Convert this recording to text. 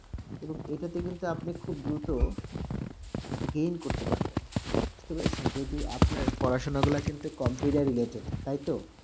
এবং এটাতে কিন্তু আপনি খুব দ্রুত gain করতে পারবেন, তবে য- যদি আপনার পড়াশুনাগুলা কিন্তু computer related, তাই তো?